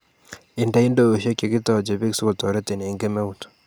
Inde ndoishek che kitoche beek si kotoretin eng kemeut